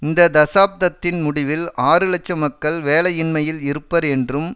இந்த தசாப்தத்தின் முடிவில் ஆறு இலட்சம் மக்கள் வேலையின்மையில் இருப்பர் என்றும்